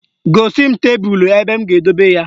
Gosi m tebelu ebe m ga-edobe ya